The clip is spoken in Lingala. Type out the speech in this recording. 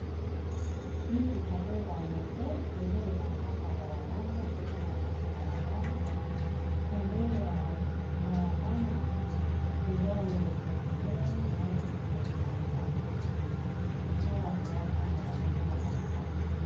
Mituka pe ba moto ezoleka na kati ya balabala ezotambola na kati ya balabala pembeni ya balabala eza wenze monene baotekisa bilamba na bato bao tambola pembeni ya balabala.